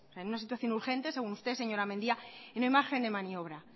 en situación urgente según usted señora mendia y no hay margen de maniobra